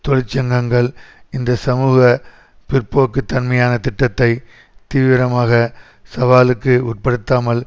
தொழிற்சங்கங்கள் இந்த சமூக பிற்போக்குத்தன்மையான திட்டத்தை தீவிரமாக சவாலுக்கு உட்படுத்தாமல்